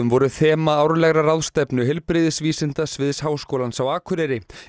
voru þema árlegrar ráðstefnu heilbrigðisvísindasviðs Háskólans á Akureyri